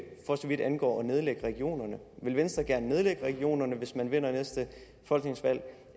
for så vidt angår at nedlægge regionerne vil venstre gerne nedlægge regionerne hvis man vinder næste folketingsvalg